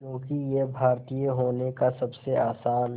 क्योंकि ये भारतीय होने का सबसे आसान